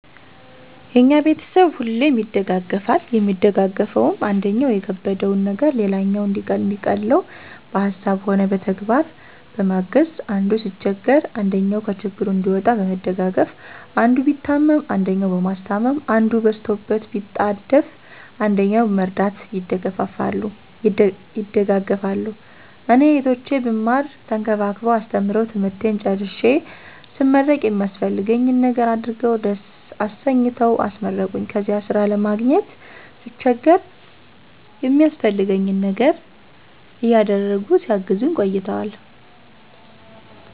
የኛ ቤተሰብ ሁሌም ይደጋገፋል የሚደጋገፈዉም, አንደኛዉ የከበደዉን ነገር ሌላኛዉ እንዲቀለዉ በሀሳብም ሆነ በተግባር በማገዝ፣ አንዱ ሲቸገር አንደኛዉ ከችግሩ እንዲወጣ በመደጋገፍ፣ አንዱ ቢታመም አንደኛዉ በማስታመም፣ አንዱ በስቶበት ቢጣደፍ አንደኛዉ በመርዳት ይደጋገፋሉ። እኔ "እህቶቼ ብማር ተንከባክበዉ አስተምረዉ ትምህርቴን ጨርሴ ስመረቅ የሚያስፈልገኝን ነገር አድርገዉ ደስ አሰኝተዉ አስመረቁኝ"ከዚያ ስራ ለማግኘት ስቸገር የሚያስፈልገኝን ነገር እያደረጉ ሲያግዙኝ ቆይተዋል።